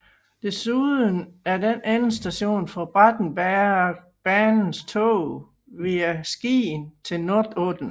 Desuden er den endestation for Bratsbergbanens tog via Skien til Notodden